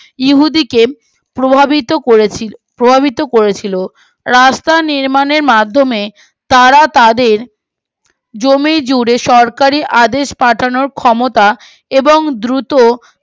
উহুদীকে প্রভাবিত করেছিল প্রভাবিত করেছিল রাস্তা নির্মাণের মাধ্যমে তারা তাদের জমি জুড়ে সরকারি আদেশ পাঠানোর ক্ষমতা এবং দ্রুত